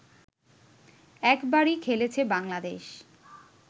একবারই খেলেছে বাংলাদেশ